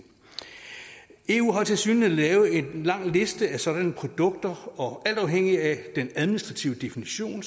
eu har tilsyneladende lavet en lang liste over sådanne produkter og alt afhængig af den administrative definition